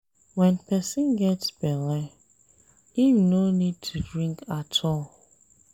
When person get bele, im no need to drink at all